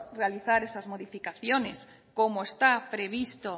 realizar esas modificaciones como está previsto